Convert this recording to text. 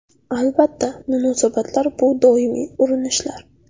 Albatta, munosabatlar bu doimiy urinishlar.